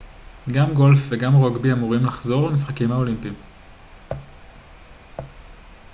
גם גולף וגם רוגבי אמורים לחזור למשחקים האולימפיים